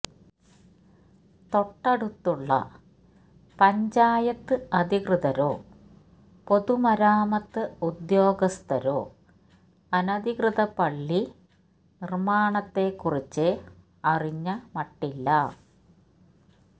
തൊട്ടടുത്തുള്ള പഞ്ചായത്ത് അധികൃതരോ പൊതുമരാമത്ത് ഉദ്ദ്യോഗസ്ഥരോ അനധികൃത പള്ളി നിര്മ്മാണത്തെക്കുറിച്ച് അറിഞ്ഞ മട്ടില്ല